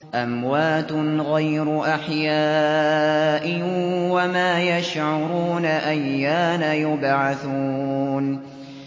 أَمْوَاتٌ غَيْرُ أَحْيَاءٍ ۖ وَمَا يَشْعُرُونَ أَيَّانَ يُبْعَثُونَ